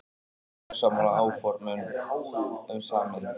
Ósammála áformum um sameiningu